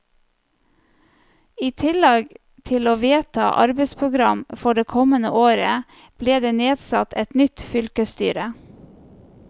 I tillegg til å vedta arbeidsprogram for det kommende året, ble det nedsatt et nytt fylkesstyre.